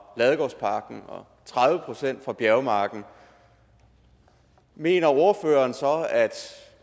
ladegårdsparken og tredive procent fra bjergmarken mener ordføreren så